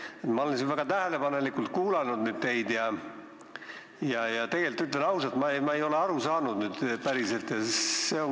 Ma olen teid siin nüüd väga tähelepanelikult kuulanud, aga ütlen ausalt, et ma ei ole teist päriselt aru saanud.